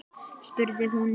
spurði hún.